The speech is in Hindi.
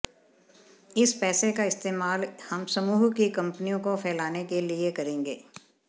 इस पैसे का इस्तेमाल हम समूह की कंपनियों को फैलाने के लिए करेंगे